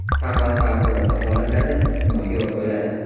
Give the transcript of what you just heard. Faqat favqulodda holatlarda istisnoga yo‘l qo‘yiladi.